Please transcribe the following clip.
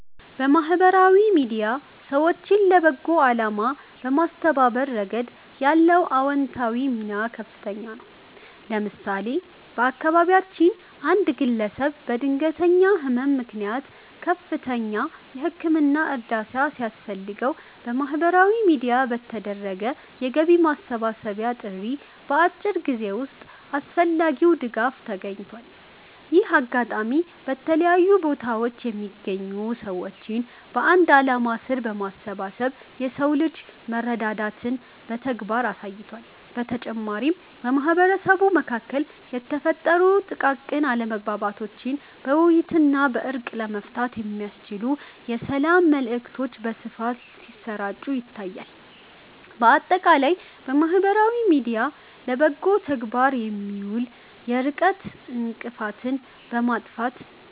ማህበራዊ ሚዲያ ሰዎችን ለበጎ አላማ በማስተባበር ረገድ ያለው አዎንታዊ ሚና ከፍተኛ ነው። ለምሳሌ፣ በአካባቢያችን አንድ ግለሰብ በድንገተኛ ህመም ምክንያት ከፍተኛ የህክምና እርዳታ ሲያስፈልገው፣ በማህበራዊ ሚዲያ በተደረገ የገቢ ማሰባሰቢያ ጥሪ በአጭር ጊዜ ውስጥ አስፈላጊው ድጋፍ ተገኝቷል። ይህ አጋጣሚ በተለያዩ ቦታዎች የሚገኙ ሰዎችን በአንድ ዓላማ ስር በማሰባሰብ የሰው ልጅ መረዳዳትን በተግባር አሳይቷል። በተጨማሪም፣ በማህበረሰቡ መካከል የተፈጠሩ ጥቃቅን አለመግባባቶችን በውይይትና በእርቅ ለመፍታት የሚያስችሉ የሰላም መልዕክቶች በስፋት ሲሰራጩ ታይቷል። ባጠቃላይ ማህበራዊ ሚዲያ ለበጎ ተግባር ሲውል የርቀት እንቅፋትን በማጥፋት